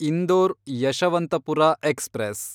Indore Yeshwantpur express